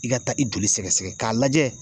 I ka taa i joli sɛgɛsɛgɛ k'a lajɛ